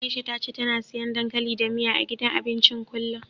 Aisha ta ce tana siyan dankali da miya, a gidan abincin kullum.